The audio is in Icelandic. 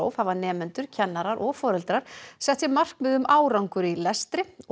hafa nemendur kennarar og foreldrar sett sér markmið um árangur í lestri og